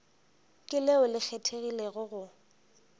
ke leo le kgethegilego go